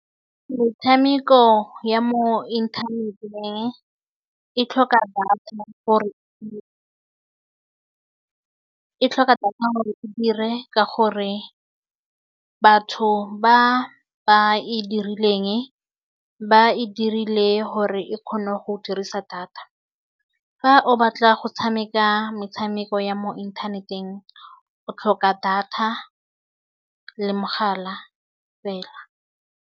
Metshameko ya mo inthaneteng e tlhoka data gore e, e tlhoka data gore e dire ka gore batho ba ba e dirileng ba e dirile gore e kgone go dirisa data fa o batla go tshameka metshameko ya mo inthaneteng o tlhoka data le mogala fela.